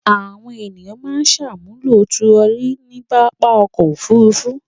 Àwọn ènìyàn máa ń ṣàmúlò turọlí ní pápá ọkọ̀-òfurufú.